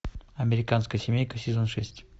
американская семейка сезон шесть